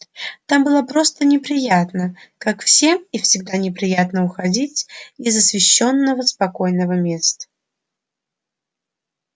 там было просто неприятно как всем и всегда неприятно уходить из освещённого спокойного места